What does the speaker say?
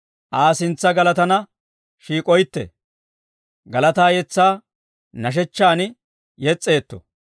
Aa sintsa galataanna shiik'oytte. Galataa yetsaa nashshechchan yes's'oytte.